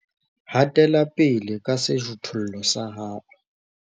Hatela pele ka sejothollo sa hao